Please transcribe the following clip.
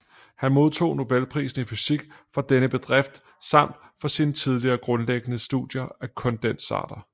Han modtog nobelprisen i fysik for denne bedrift samt for sine tidlige grundlæggende studier af kondensater